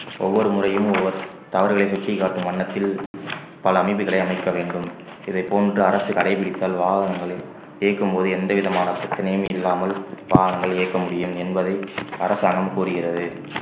ஒவ்வொரு முறையும் ஒவ்வொ~ தவறுகளை சுட்டிக்காட்டும் வண்ணத்தில் பல அமைப்புகளை அமைக்க வேண்டும் இதைப் போன்று அரசு கடைபிடித்தல் வாகனங்களை இயக்கும்போது எந்த விதமான பிரச்சனையும் இல்லாமல் வாகனங்கள் இயக்க முடியும் என்பதை அரசாங்கம் கூறுகிறது